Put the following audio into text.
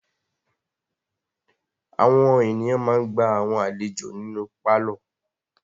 Àwọn ènìyàn ma ń gba àwọn àlejò nínú pálọ̀.